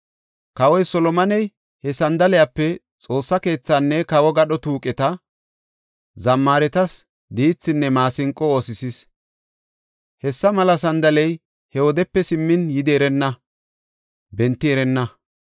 Kawoy Solomoney he sandalepe Xoossa keethaanne kawo gadho tuuqeta, zammaaretas diithinne maasinqo oosisis. Hessa mela sandaley he wodepe simmin yidi erenna; benti erenna.)